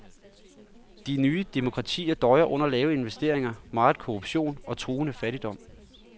De nye demokratier døjer under lave investeringer, meget korruption og truende fattigdom.